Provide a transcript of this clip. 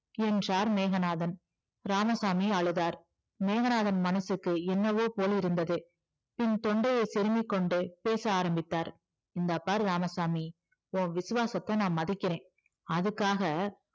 என்றார் மேகநாதன் இராமசாமி அழுதார் மேகநாதன் மனசுக்கு என்னவோ போல் இருந்தது பின் தொண்டையை செருமிக்கொண்டு பேச ஆரம்பித்தார் இந்தா பாரு இராமசாமி உன் விசுவாசத்த நான் மதிக்கிறேன் அதுக்காக